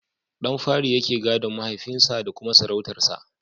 Ɗan fari yake gadon mahaifin sa da kuma sarautar sa.